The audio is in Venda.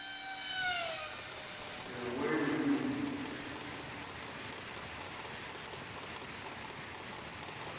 a wale wili o i